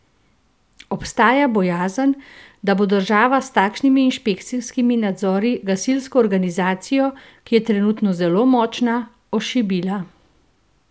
Obstaja bojazen, da bo država s takšnimi inšpekcijskimi nadzori gasilsko organizacijo, ki je trenutno zelo močna, ošibila.